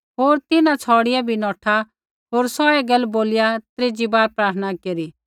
होर तिन्हां छ़ौड़िया भी नौठा होर सौहै गैल बोलिया त्रीजी बार प्रार्थना केरी